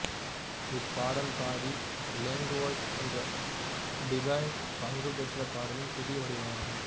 இப்பாடல் body language என்ற டிபெய்ன் பங்குபெற்ற பாடலின் புதிய வடிவமாகும்